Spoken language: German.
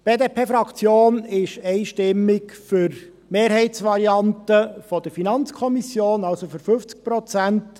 Die BDP-Fraktion ist einstimmig für die Mehrheitsvariante der FiKo, also für 50 Prozent.